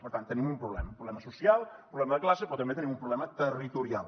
per tant tenim un problema un problema social un problema de classe però també tenim un problema territorial